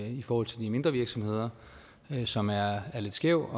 i forhold til de mindre virksomheder som er lidt skæv